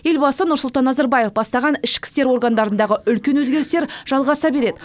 елбасы нұрсұлтан назарбаев бастаған ішкі істер органдарындағы үлкен өзгерістер жалғаса береді